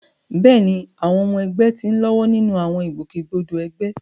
Bẹ́ẹ̀ni, àwọn ọmọ ẹgbẹ́ ti ń lọ́wọ́ nínú àwọn ìgbòkègbodò ẹgbẹ́.